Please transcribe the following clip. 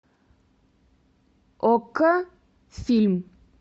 окко фильм